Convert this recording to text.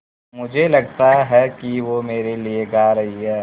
मुझे लगता है कि वो मेरे लिये गा रहीं हैँ